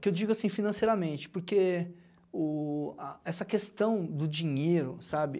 Que eu digo assim, financeiramente, porque o a essa questão do dinheiro, sabe?